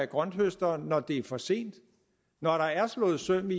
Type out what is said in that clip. grønthøsteren når det er for sent når der er slået søm i